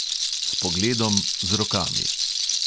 S pogledom, z rokami.